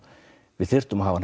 við þyrftum að hafa